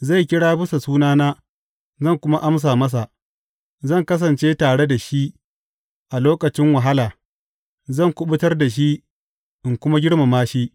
Zai kira bisa sunana, zan kuma amsa masa; zan kasance tare da shi a lokacin wahala, zan kuɓutar da shi in kuma girmama shi.